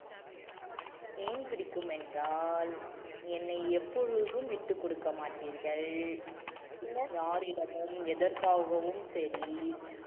ஏன் பிடிக்கும் என்றால் என்னை எப்பொழுதும் விட்டுக்கொடுக்க மாட்டீர்கள் யாரிடமும் எதற்காகவும் சரி